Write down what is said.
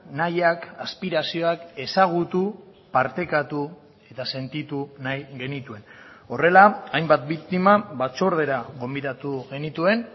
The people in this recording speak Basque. nahiak aspirazioak ezagutu partekatu eta sentitu nahi genituen horrela hainbat biktima batzordera gonbidatu genituen